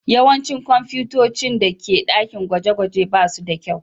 Yawancin kwamfutocin da ke dakin gwaje-gwaje ba su da kyau.